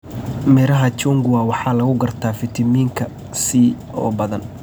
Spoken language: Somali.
Midhaha chungwa waxaa lagu gartaa fiitamiinka C oo badan.